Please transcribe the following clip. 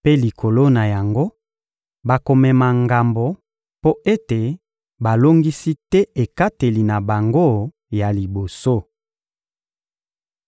mpe, likolo na yango, bakomema ngambo mpo ete balongisi te ekateli na bango ya liboso.